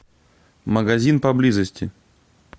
магазин поблизости